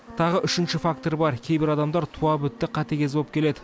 тағы үшінші фактор бар кейбір адамдар туа бітті қатыгез болып келеді